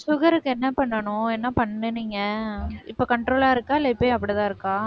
sugar க்கு என்ன பண்ணணும் என்ன பண்ணுனீங்க இப்ப control ஆ இருக்கா இல்லை இப்பயும் அப்படித்தான் இருக்கா